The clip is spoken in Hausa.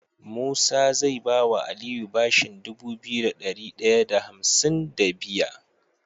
Musa zai bawa aliyu bashin Dubu biyu da dari daya da hamsin da biya